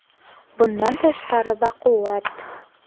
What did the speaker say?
Bundan tashqari baquvvat.